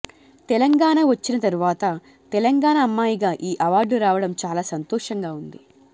తెలంగాణ వచ్చిన తర్వాత తెలంగాణ అమ్మాయిగా ఈ అవార్డు రావడం చాలా సంతోషంగా ఉంది